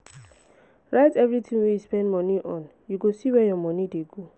write everytin wey you spend moni on you go see where your moni dey go.